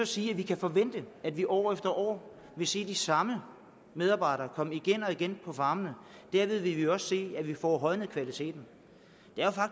sige at vi kan forvente at vi år efter år vil se de samme medarbejdere komme på farmene og derved vil vi også se at vi får højnet kvaliteten